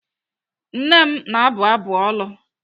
Nne m na-abụ ọbụ olu.